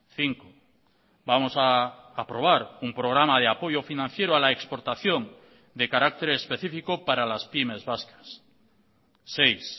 cinco vamos a aprobar un programa de apoyo financiero a la exportación de carácter específico para las pymes vascas seis